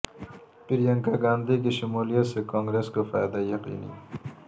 پرینکا گاندھی کی شمولیت سے کانگریس کو فائدہ یقینی